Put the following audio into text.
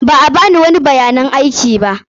Ba a bani wani bayanan banki ba.